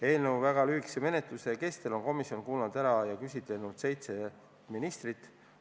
Eelnõu väga lühikese menetluse kestel on komisjon kuulanud ära ja küsitlenud seitset ministrit.